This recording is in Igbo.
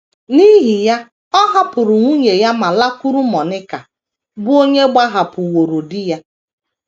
* N’ihi ya, ọ hapụrụ nwunye ya ma lakwuru Monika, bụ́ onye gbahapụworo di ya.